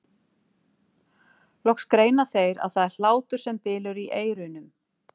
Loks greina þeir að það er hlátur sem bylur í eyrunum.